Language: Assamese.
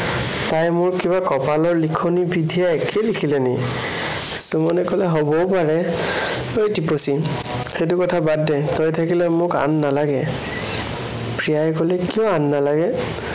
তাইৰ মোৰ কিবা কপালৰ লিখনি বিধিয়ে একেই লিখিলে নেকি? সুমনে কলে, হবও পাৰে। এই টিপচী, সেইটো কথা বাদ দে, তই থাকিলে মোক আন নালাগে। প্ৰিয়াই কলে, কিয় আন নালাগে?